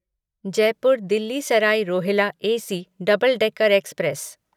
Jaipur Delhi Sarai Rohilla AC double decker express